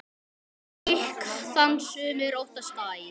Gikk þann sumir óttast æ.